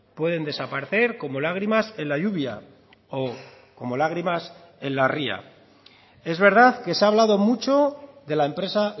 pueden desaparecer como lágrimas en la lluvia o como lágrimas en la ría es verdad que se ha hablado mucho de la empresa